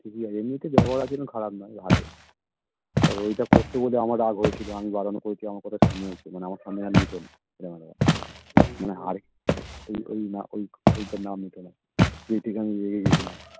ঠিক আছে এমনিতে ব্যবহার আচরণ খারাপ না ভালোই আর ঐটা করতো বলে আমার রাগ হয়েছিল আমি বারণ করেছি আমার কথা শুনেও ছিল আমার সামনে আর নিতো না মানে আর ঐ ঐ ঐটার নাম নিতো না যেহেতু আমি রেগে গেছিলাম